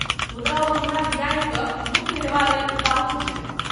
मुदा ओ हमरा बियाहि कऽ मुक्त हेबा लेल उताहुल छथि।